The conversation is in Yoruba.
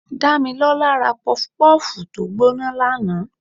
Damilola rá pufú pufú tọ gboná laná